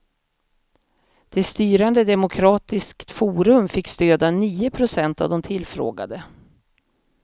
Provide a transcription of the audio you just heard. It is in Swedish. Det styrande demokratiskt forum fick stöd av nio procent av de tillfrågade.